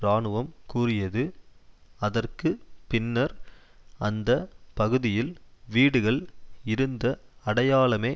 இராணுவம் கூறியது அதற்கு பின்னர் அந்த பகுதியில் வீடுகள் இருந்த அடையாளமே